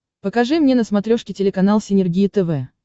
покажи мне на смотрешке телеканал синергия тв